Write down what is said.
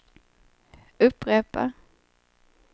upprepa